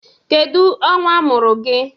Kedu ọnwa a mụrụ gị?